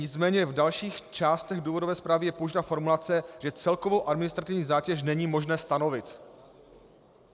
Nicméně v dalších částech důvodové zprávy je použita formulace, že celkovou administrativní zátěž není možné stanovit.